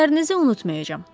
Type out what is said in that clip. Dediklərinizi unutmayacam.